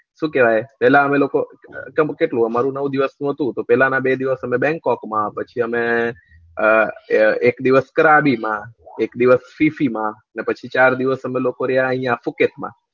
શું કેવાય પેલા અમે લોકો નવ દિવસ નું હતું પેલા ના બે દિવસ અમે બન્ગકોક માં પછી અમે અમ એક દિવસ કરાબીમાં એક દિવસ માં ને પછી ચાર દિવસ અમે લોકો રહ્યા આયા સુકેત માં